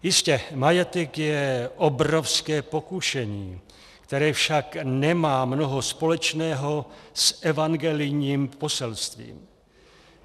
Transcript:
Jistě, majetek je obrovské pokušení, které však nemá mnoho společného s evangelijním poselstvím.